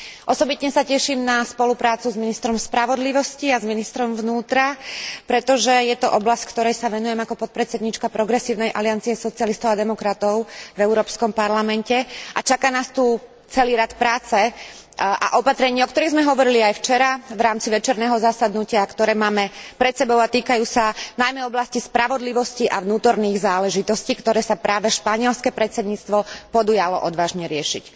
Osobitne sa teším na spoluprácu s ministrom spravodlivosti a s ministrom vnútra, pretože je to oblasť, ktorej sa venujem ako podpredsedníčka Progresívnej aliancie socialistov a demokratov v Európskom parlamente, a čaká nás tu celý rad práce a opatrení, o ktorých sme hovorili aj včera v rámci večerného zasadnutia, ktoré máme pred sebou a týkajú sa najmä oblasti spravodlivosti a vnútorných záležitostí, ktoré sa práve španielske predsedníctvo podujalo odvážne riešiť.